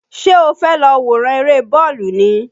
Ṣé o fẹ́ lọ wòran eré bọ́ọ̀lù ni?